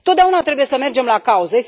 Totdeauna trebuie să mergem la cauză.